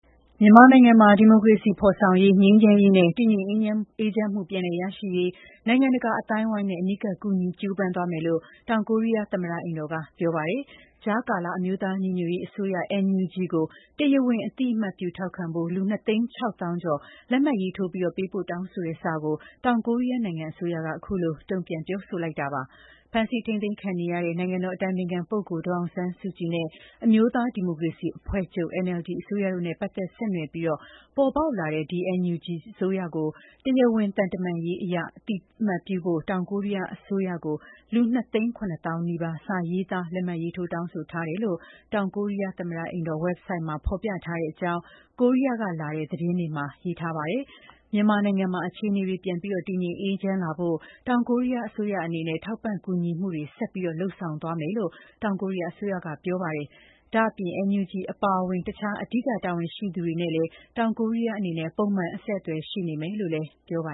မြန်မာနိုင်ငံမှာ ဒီမိုကရေစီဖော်ဆောင်ရေး၊ ငြိမ်းချမ်းရေးနဲ့ တည်ငြိမ်အေးချမ်းမှု ပြန်လည်ရရှိရေး နိုင်ငံတကာအသိုင်းအဝိုင်းနဲ့ အနီးကပ် ကူညီ ကြိုးပမ်းသွားမယ်လို့ တောင်ကိုရီးယား သမ္မတအိမ်တော်က ပြောပါတယ်။ ကြားကာလအမျိုးသားညီညွတ်ရေးအစိုးရ (NUG) ကို တရားဝင်အသိအမှတ်ပြုထောက်ခံဖို့ လူ ၂ သိန်း ၆ သောင်းကျော် လက်မှတ်ရေးထိုး ပေးပို့တောင်းဆိုတဲ့စာကို တောင်ကိုရီးယားနိုင်ငံအစိုးရက အခုလို တုံ့ပြန်ပြောဆိုလိုက်တာပါ။ ဖမ်းဆီးထိန်းသိမ်းခံနေရတဲ့ နိုင်ငံတော်အတိုင်ပင်ခံပုဂ္ဂိုလ် ဒေါ်အောင်ဆန်းစုကြည်နဲ့ အမျိုးသား ဒီမိုကရေစီ အဖွဲ့ချုပ် (NLD) အစိုးရတို့နဲ့ ပတ်သက်ဆက်နွယ် ပေါ်ပေါက်လာတဲ့ NUG ကို တရားဝင် သံတမန်ရေးအရ အသိအမှတ်ပြုဖို့ တောင်ကိုရီးယားအစိုးရကို လူ ၂ သိန်း ၇ သောင်းနီးပါး စာရေးသား လက်မှတ်ရေးထိုး တောင်းဆိုထားတယ်လို့လည်း တောင်ကိုရီးယားသမ္မတအိမ်တော် ဝက်ဘ်ဆိုဒ်မှာ ဖော်ပြထားတဲ့အကြောင်း ကိုရီးယားကလာတဲ့ သတင်းတွေမှာ ရေးထားပါတယ်။ မြန်မာနိုင်ငံမှာ အခြေအနေတွေ ပြန်ပြီးတည်ငြိမ်အေးချမ်းလာဖို့ တောင်ကိုရီးယားအစိုးရအနေနဲ့ ထောက်ပံ့ကူညီမှုတွေ ဆက်ပြီး လုပ်ဆောင်ပေးသွားမယ်လို့ တောင်ကိုရီးယားအစိုးရကပြောပါတယ်။ ဒါ့အပြင် NUG အပါအဝင် တခြား အဓိက တာဝန်ရှိသူတွေနဲ့လည်း တောင်ကိုရီးယားအနေနဲ့ ပုံမှန် အဆက်အသွယ် ရှိနေမယ်လို့လည်း ပြောပါ